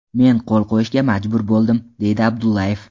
Men qo‘l qo‘yishga majbur bo‘ldim”, deydi Abdullayev.